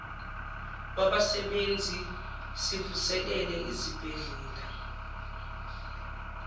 wabasebenzi sivuselele izibhedlela